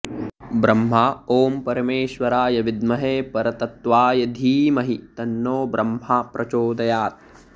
ब्रह्मा ॐ परमेश्वराय विद्महे परतत्त्वाय धीमहि तन्नो ब्रह्मा प्रचोदयात्